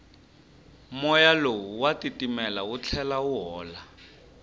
moya lowu wa titimela wu tlhela wu hola